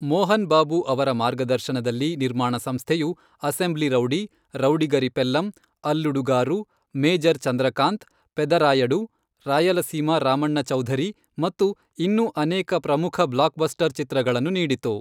ಮೋಹನ್ ಬಾಬು ಅವರ ಮಾರ್ಗದರ್ಶನದಲ್ಲಿ, ನಿರ್ಮಾಣ ಸಂಸ್ಥೆಯು Assembly Rowdy, Rowdygari Pellam, Alludu Garu, Major Chandrakanth, Pedarayudu, Rayalaseema Ramanna Chowdary ಮತ್ತು ಇನ್ನೂ ಅನೇಕ ಪ್ರಮುಖ ಬ್ಲಾಕ್ಬಸ್ಟರ್ ಚಿತ್ರಗಳನ್ನು ನೀಡಿತು.